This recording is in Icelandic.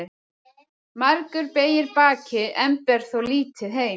Margur beygir bakið en ber þó lítið heim.